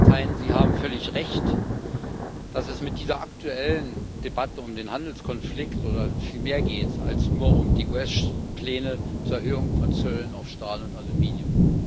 Ja, Herr Katainen, Sie haben völlig recht, dass es bei dieser aktuellen Debatte um den Handelskonflikt um viel mehr geht als nur um die US Pläne zur Erhöhung von Zöllen auf Stahl und Aluminium.